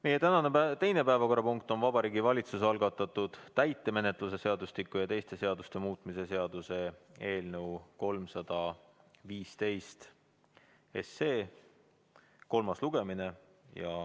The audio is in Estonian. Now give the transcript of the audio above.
Meie tänane teine päevakorrapunkt on Vabariigi Valitsuse algatatud täitemenetluse seadustiku ja teiste seaduste muutmise seaduse eelnõu 315 kolmas lugemine.